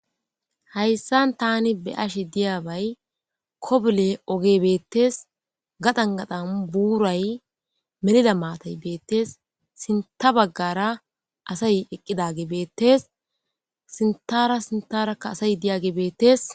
Hayissan tani be ashi diyaabay kobule oge beettes gadan gadhan buuray melida maatay beettes sinta baggara asay eqqidage beettes sintara sintarakka asay diyage beettes